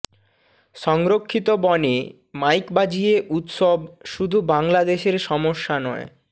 সংরক্ষিত বনে মাইক বাজিয়ে উৎসব শুধু বাংলাদেশের সমস্যা নয়